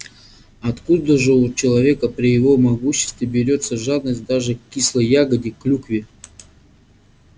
откуда же у человека при его могуществе берётся жадность даже к кислой ягоде клюкве